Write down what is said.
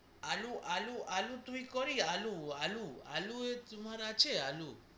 আলু আলু আলু তুমি করি আলু আলু আলু এ তোমার আছে আলু